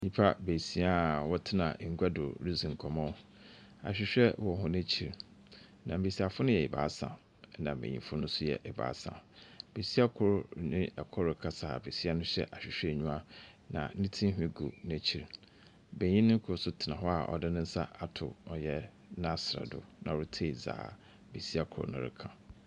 Nnipa beesia a wɔtena ngua do redzi nkɔmbɔ. Ahwehwɛ wɔ hɔn ekyir, na mbesiafo no yɛ ebaasa, ɛnna mbenyimfo no nso yɛ ebaasa. Besia kor ne kor rekasa a besia no hyɛ ahwehwɛnyiwa, na ne tinhwi gu n'ekyir. Benyin kor nso tena hɔ a ɔde ne nsa ato ɔyɛ n'asrɛ do na oritie dza besia kor no reka.